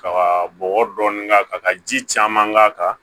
Ka bɔgɔ dɔɔnin k'a kan ka ji caman k'a kan